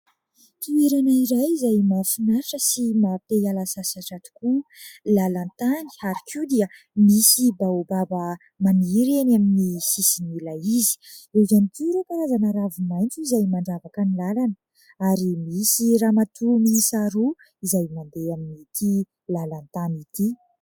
Toerana iray izay mahafinaritra sy maha te hiala sasatra tokoa. Lalan-tany, ary koa dia misy baobaba maniry eny amin'ny sisin'ilay izy, eo ihany koa ireo karazana ravi-maitso izay mandravaka ny lalana ary misy ramatoa miisa roa izay mandeha amin'ity lalan-tany ity.